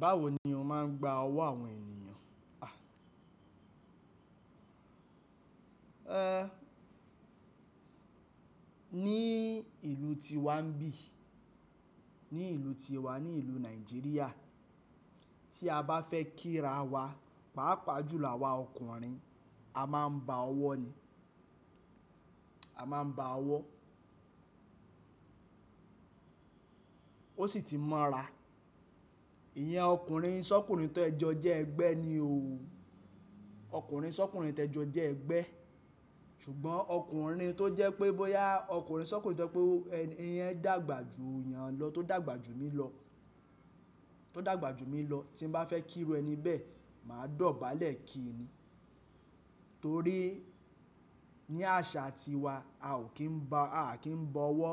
Báwo ni o máa ń gba ọwọ́ àwọn ènìyàn? À, ẹẹ́, ní ìlú tí wa ń bí, ní ìlú ti wa, ní ìlú Nàìjíríà, tí a bá fẹ́ kíra wa, pàápàá jùlọ àwa ọkùnrin, a máa ń ba ọwọ́ ni, a máa ń ba ọwọ́. Ó sì ti mọra. Ìyẹn ọkùnrin sọ́kùnrin tẹ jọ jẹ́ ẹgbẹ́ ni o. Ọkùnrin sọ́kùnrin tẹ jo jẹ́ ẹgbẹ́. Ṣùgbọ́n ọkùnrin tó jẹ́ pé bọ́yá ọkùnrin sọ́kùnrin tó jẹ́ pé ẹni yẹn dàgbà jù yàn lọ, tó dàgbà jù mí lọ, tó dàgbà jù mí lọ, tí n bá fẹ́ kíru ẹni bẹ́ẹ̀, màá dọ̀bálẹ̀ kì í ni. Torí ní àṣà tiwa, a ò kí ń ba, a kì ń bọ ọwọ́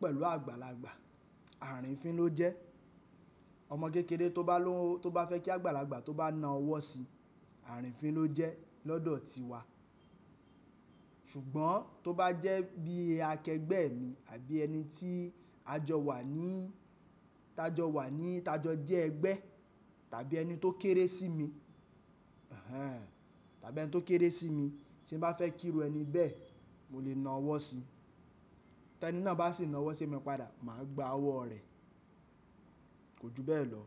pẹ̀lú àgbàlagbà. Àrìífín ló jẹ́. Ọmọ kékeré tó bá ló, tó bá fẹ́ kí àgbàlagbà tó bá na ọwọ́ si, àrìífín ló jẹ́ lọ́dọ̀ tiwa. Ṣùgbọ́n tó bá jẹ́ bí akẹgbẹ́ mi àbí ẹni tí a jọ wà ní, tá a jọ wà ní, tá jọ jẹ́ ẹgbẹ́, tàbí ẹni tó kéré sí mi, hẹ́hẹ̀, tàbí ẹni tó kéré sí mi, tí n bá fẹ́ kíru ẹni bẹ́ẹ̀, mo lè na ọwọ́ si. Tẹ́ ẹni náà bá sì na ọwọ́ sí mi padà, màá gba ọwọ́ rẹ̀. Kò ju bẹ́ẹ̀ lọ.